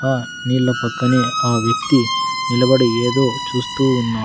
ఆ నీళ్ల పక్కనే ఆ వ్యక్తి నిలబడి ఏదో చూస్తూ ఉన్నా --